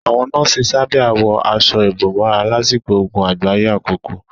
Àwọn nọ́ọ̀sì sábíà wọ aṣọ ìbòmọ́ra lásìkò ogun àgbáyé àkọ́kọ́.